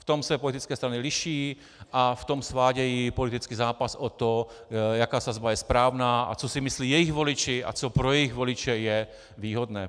V tom se politické strany liší a v tom svádějí politický zápas o to, jaká sazba je správná a co si myslí jejich voliči a co pro jejich voliče je výhodné.